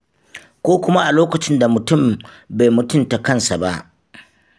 Ko kuma a lokacin da mutum bai mutunta kansa ba.